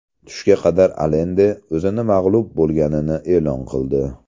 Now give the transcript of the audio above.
Tushga qadar Alende o‘zini mag‘lub bo‘lganini e’lon qildi.